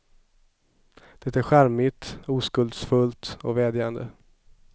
Det är charmigt, oskuldsfullt och vädjande.